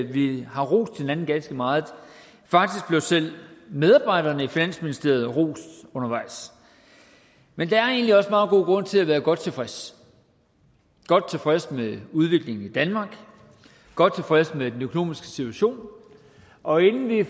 vi har rost hinanden ganske meget faktisk blev selv medarbejderne i finansministeriet rost undervejs men der er egentlig også meget god grund til at være godt tilfredse godt tilfredse med udviklingen i danmark godt tilfredse med den økonomiske situation og inden vi